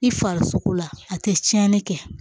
I farisogo la a tɛ tiɲɛni kɛ